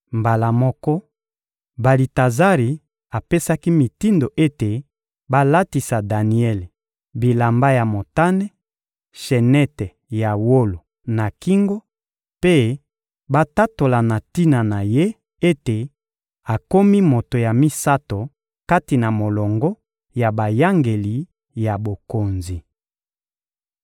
Mbala moko, Balitazari apesaki mitindo ete balatisa Daniele bilamba ya motane, sheneti ya wolo na kingo mpe batatola na tina na ye ete akomi moto ya misato kati na molongo ya bayangeli ya bokonzi.